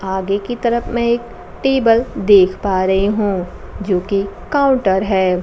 आगे की तरफ में एक टेबल देख पा रही हूं जो कि काउंटर है।